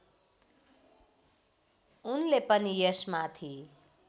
उनले पनि यसमाथि